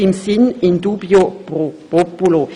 Dies im Sinne von «in dubio pro populo».